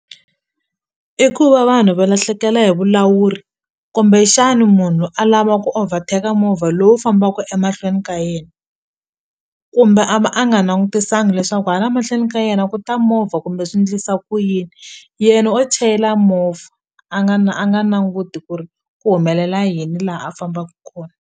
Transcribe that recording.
I ku va vanhu va lahlekela hi vulawuri kumbexani munhu a lava ku overtake movha lowu fambaka emahlweni ka yena kumbe a va a nga na nangutiselanga leswaku hala mahlweni ka yena ku ta movha kumbe swi ndlisa ku yini yena o chayela movha a nga a nga nanguti ku ri ku humelela yini la a fambaka kona.